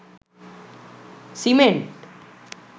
cement